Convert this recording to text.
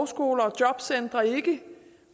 skolegang